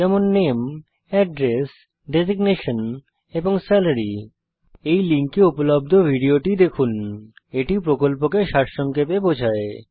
যেমন নামে address designation এবং সালারি এই লিঙ্কে উপলব্ধ ভিডিওটি দেখুন httpspokentutorialorgWhat is a Spoken Tutorial এটি প্রকল্পকে সারসংক্ষেপে বোঝায়